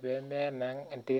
enkare enterit